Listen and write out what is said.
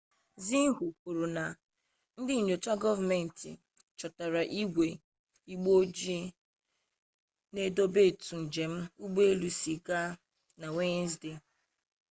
xinhua kwuru na ndị nnyocha gọọmenti chọtara igwe 'igbe ojii' na-edokọ etu njem ụgbọelu si gaa na wenezdee